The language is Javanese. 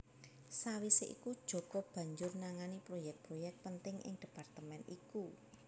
Sawisé iku Djoko banjur nangani proyek proyek penting ing departemen iku